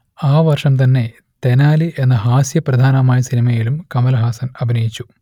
ആ വർഷം തന്നെ തെനാലി എന്ന ഹാസ്യപ്രധാനമായ സിനിമയിലും കമലഹാസൻ അഭിനയിച്ചു